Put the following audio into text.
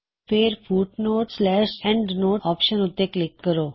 ਫੇਰ footnote endnote option ਉੱਤੇ click ਕਰੋ